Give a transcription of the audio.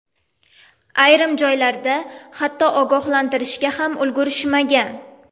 Ayrim joylarda hatto ogohlantirishga ham ulgurishmagan.